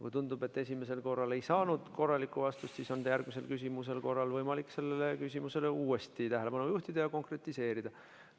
Kui tundub, et esimesele küsimusele ei saadud korralikku vastust, siis on järgmise küsimusega võimalik sellele uuesti tähelepanu juhtida ja seda konkretiseerida.